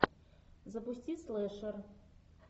запусти слэшер